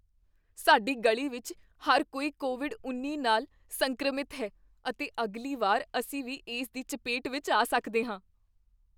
ਸਾਡੀ ਗਲੀ ਵਿੱਚ ਹਰ ਕੋਈ ਕੋਵਿਡ ਉੱਨੀ ਨਾਲ ਸੰਕਰਮਿਤ ਹੈ ਅਤੇ ਅਗਲੀ ਵਾਰ ਅਸੀਂ ਵੀ ਇਸ ਦੀ ਚਪੇਟ ਵਿਚ ਆ ਸਕਦੇ ਹਾਂ